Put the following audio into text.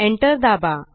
Enter दाबा